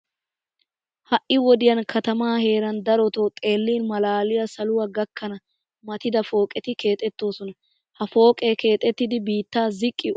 Ha"i wodiyan katamaa heeran daroto xeellin malaaliya saluwa gakkana matida pooqet keexettoosna. Ha pooqee keexettiiddi biittaa ziqqi ootti bookkidi garssappe doommidi shuchchan keexettoosona.